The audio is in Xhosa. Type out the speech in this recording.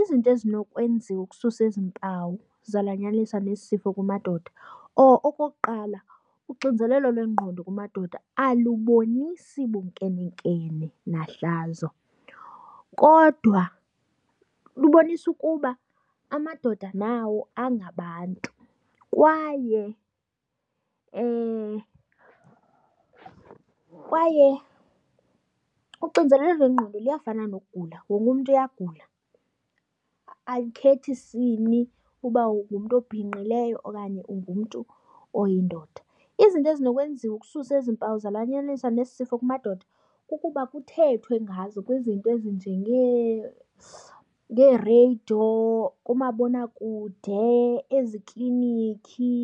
Izinto ezinokwenziwa ukususa ezi mpawu zalanyaniswa nesi sifo kumadoda. Okokuqala uxinzelelo lwengqondo kumadoda alubonisi bunkumenkeme nahlazo kodwa lubonisa ukuba amadoda nawo angabantu. Kwaye kwaye uxinzelelo lwengqondo luyafana nokugula wonke umntu uyagula, alikhethi sini uba ungumntu obhinqileyo okanye ungumntu oyindoda. Izinto ezinokwenziwa ukususa ezi mpawu zalanyaniswa nesi sifo kumadoda kukuba kuthethwe ngazo kwizinto ezinjengeereyido, kumabonakude, ezikliniki,